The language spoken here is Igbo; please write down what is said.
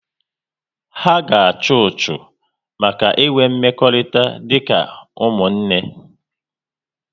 Ha ga achu ọchụ maka inwe mmekọrịta dị ka ụmụnne